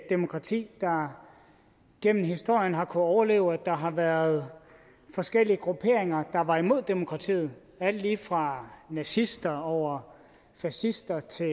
demokrati der gennem historien har kunnet overleve at der har været forskellige grupperinger der var imod demokratiet alt lige fra nazister over fascister til